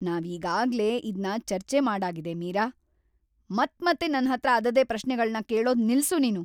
ನಾವೀಗಾಗ್ಲೇ ಇದ್ನ ಚರ್ಚೆ ಮಾಡಾಗಿದೆ, ಮೀರಾ! ಮತ್ಮತ್ತೆ ನನ್ಹತ್ರ ಅದದೇ ಪ್ರಶ್ನೆಗಳ್ನ ಕೇಳೋದ್‌ ನಿಲ್ಸು ನೀನು.